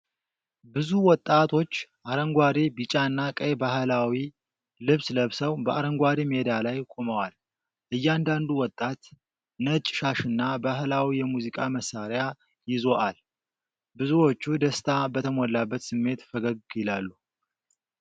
ብዙ ወጣቶች አረንጓዴ፣ ቢጫና ቀይ ባህላዊ ልብስ ለብሰው በአረንጓዴ ሜዳ ላይ ቆመዋል። እያንዳንዱ ወጣት ነጭ ሻሽና ባህላዊ የሙዚቃ መሳሪያ ይዞአል። ብዙዎቹ ደስታ በተሞላበት ስሜት ፈገግ ይላሉ።